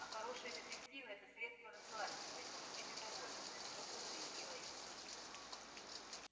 а хорошие детективы это средство расслабиться и получить удовольствие твёрдо заявила я